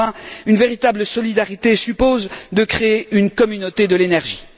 Enfin, une véritable solidarité suppose de créer une Communauté de l'énergie.